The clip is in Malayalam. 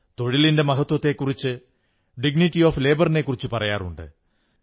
തൊഴിലിന്റെ മഹത്വത്തെക്കുറിച്ച് ഡിഗ്നിറ്റി ഓഫ് ലേബറിനെക്കുറിച്ചു പറയാറുണ്ട്